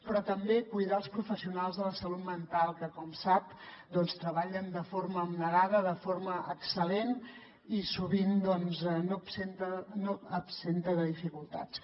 però també cuidar els professionals de la salut mental que com sap doncs treballen de forma abnegada de forma excel·lent i sovint doncs no absenta de dificultats